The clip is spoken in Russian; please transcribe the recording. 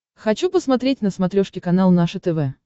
хочу посмотреть на смотрешке канал наше тв